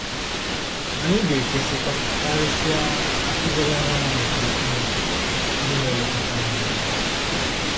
Anyị ga-ekwesịkwa, karịsịa, ‘ịdọrọ onwe anyị n’okpuru Chineke,’ onye na-elekọta anyị. anyị.